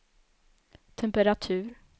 temperatur